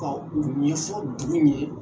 Ka o ɲɛfɔ dugu ɲɛ.